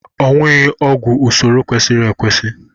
Owụghị ọgwụ n'usoro kwesịrị ekwesị